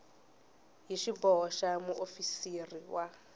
hi xiboho xa muofisiri wa